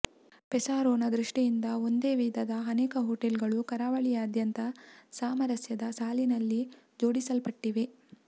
ಪೆಸಾರೊನ ದೃಷ್ಟಿಯಿಂದ ಒಂದೇ ವಿಧದ ಅನೇಕ ಹೋಟೆಲ್ಗಳು ಕರಾವಳಿಯಾದ್ಯಂತ ಸಾಮರಸ್ಯದ ಸಾಲಿನಲ್ಲಿ ಜೋಡಿಸಲ್ಪಟ್ಟಿವೆ